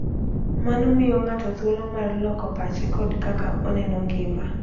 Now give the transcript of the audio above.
Mano miyo ng'ato thuolo mar loko pache kod kaka oneno ngima.